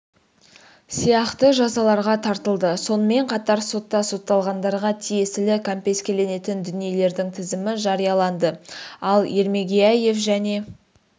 сияқты жазаларға тартылды сонымен қатар сотта сотталғандарға тиесілі кәмпескеленетін дүниелердің тізімі жарияланды ал ермегияев және